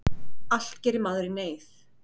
Allt gerir maður í neyð.